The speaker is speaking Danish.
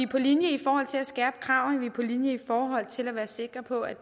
på linje i forhold til at skærpe kravene vi er på linje i forhold til at være sikre på at